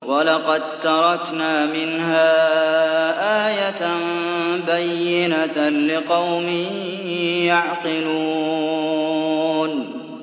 وَلَقَد تَّرَكْنَا مِنْهَا آيَةً بَيِّنَةً لِّقَوْمٍ يَعْقِلُونَ